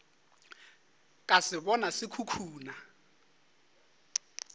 ka se bona se khukhuna